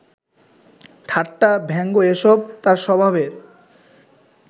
ঠাট্টা, ব্যঙ্গ এসব তাঁর স্বভাবের